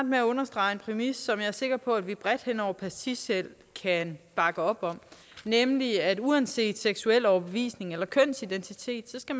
med at understrege en præmis som jeg er sikker på at vi bredt hen over partiskel kan bakke op om nemlig at man uanset seksuel overbevisning eller kønsidentitet skal